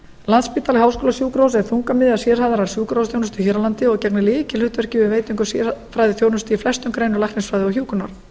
landspítali háskólasjúkrahús er þungamiðja sérhæfðrar sjúkrahúsþjónustu hér á landi og gegnir lykilhlutverki við veitingu sérfræðiþjónustu í flestum greinum læknisfræði og hjúkrunar